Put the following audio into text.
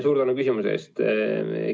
Suur tänu küsimuse eest!